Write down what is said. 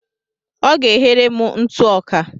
Ọ ga-eghere m ntụ ọka.